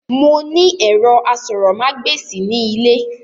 Mo ní ẹ̀rọ asọ̀rọ̀mágbèsì ní ilé